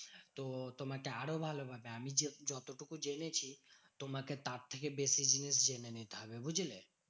তো তোমাকে আরো ভালো ভাবে আমি যে যতটুকু জেনেছি। তোমাকে তার থেকে বেশি জিনিস জেনে নিতে হবে, বুঝলে?